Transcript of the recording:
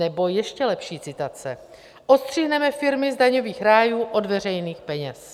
Nebo ještě lepší citace: Odstřihneme firmy z daňových rájů od veřejných peněz.